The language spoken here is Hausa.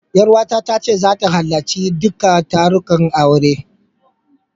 Ƴaruwata ta ce zata halarci duka tarukan auren.